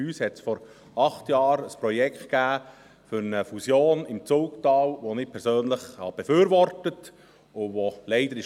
Bei uns gab es vor acht Jahren ein Projekt für eine Fusion im Zulgtal, die ich persönlich befürwortete und die leider scheiterte.